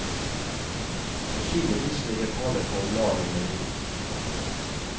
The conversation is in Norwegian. Sannsynligvis ligger tallet på omlag en million. punktum